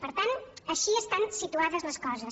per tant així estan situades les coses